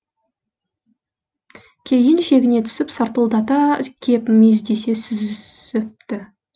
кейін шегіне түсіп сартылдата кеп мүйіздесе сүзісіпті